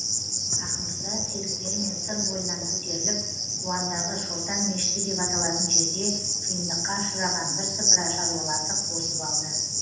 ақмырза серіктерімен сыр бойынан көтеріліп қуандағы шортан мешіті деп аталатын жерде қиындыққа ұшыраған бірсыпыра шаруаларды қосып алды